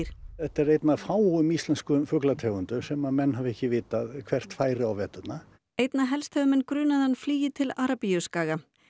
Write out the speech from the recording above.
þetta er ein af fáum íslenskum fuglategundum sem mann hafa ekki vitað hvert færi á veturna einna helst hefur menn grunað að hann flygi til Arabíuskaga